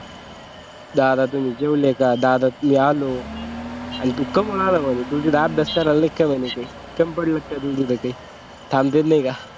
दादा तुम्ही जेवले का दादा मी आलोय आणि तू कवा आला म्हणे तू तिचा अभ्यास करायला नाही का म्हणे तू थांबता येत नाही का